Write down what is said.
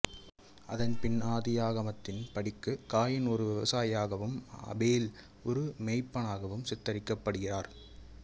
அதன் பின் ஆதியாகமத்தின் படிக்கு காயின் ஒரு விவசாயியாகவும் ஆபேல் ஒரு மேய்ப்பனாகவும் சித்தரிக்கப்படுகிறார்